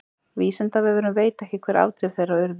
Vísindavefurinn veit ekki hver afdrif þeirra urðu.